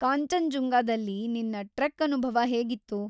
ಕಾಂಚನ್‌ಜುಂಗದಲ್ಲಿ ನಿನ್ನ ಟ್ರೆಕ್‌ ಅನುಭವ ಹೇಗಿತ್ತು?